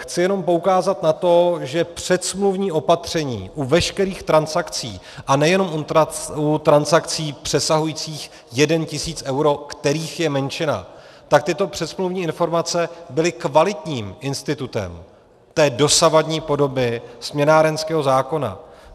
Chci jenom poukázat na to, že předsmluvní opatření u veškerých transakcí, a nejenom u transakcí přesahujících 1 000 eur, kterých je menšina, tak tyto předsmluvní informace byly kvalitním institutem té dosavadní podoby směnárenského zákona.